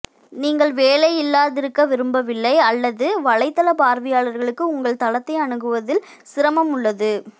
நீங்கள் வேலையில்லாதிருக்க விரும்பவில்லை அல்லது வலைத்தள பார்வையாளர்களுக்கு உங்கள் தளத்தை அணுகுவதில் சிரமம் உள்ளது